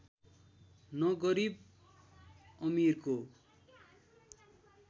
न गरिब अमिरको